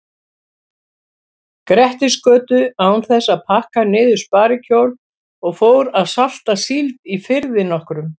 Grettisgötu án þess að pakka niður sparikjól og fór að salta síld í firði nokkrum.